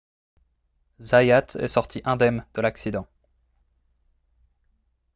zayat est sorti indemne de l'accident